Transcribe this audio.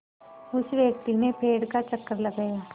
उस व्यक्ति ने पेड़ का चक्कर लगाया